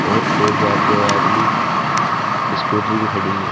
और एक या दो आदमी स्कूटी भी खड़ी है।